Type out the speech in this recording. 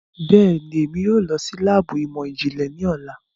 Bẹẹni, Emi yoo lọ si laabu imọ-jinlẹ ni ọla